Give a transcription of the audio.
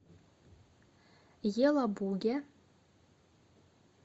елабуге